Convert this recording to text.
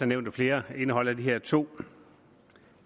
nævnt af flere indeholder de her to